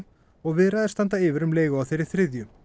og viðræður standa yfir um leigu á þeirri þriðju